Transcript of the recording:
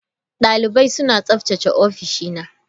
Dalibai suna tsaftace ofishina.